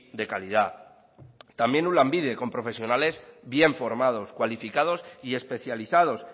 de calidad también un lanbide con profesionales bien formados cualificados y especializados